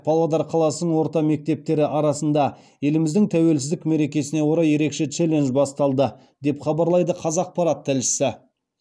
павлодар қаласының орта мектептері арасында еліміздің тәуелсіздік мерекесіне орай ерекше челлендж басталды деп хабарлайды қазақпарат тілшісі